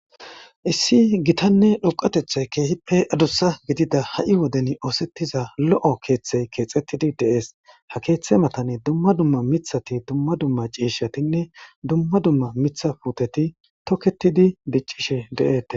issi gitanne dhoqatethay keehippe adussa gidida ha7i woden oosettiza lo7o keeththey keexettidi deees ha keeththe matane dumma dumma mithati dumma dumma ciishshatinne dumma dumma mitha puteti toketidi biccishe de7ete